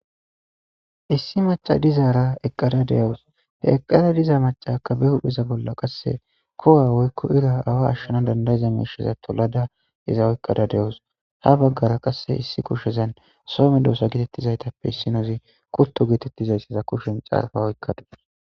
Issi maca dizaara eqqada de7awus. He eqqada diza maccaakka be hupheza bolla qasse kowa woykko ira awa ashshana dandayiza miisheza tolada iza oykkada de7awus. Ha baggara qasse issi kushezan soo medoosa gitettizaytappe issinozi kutto geetettizaysa kutto kushen caarfa oykka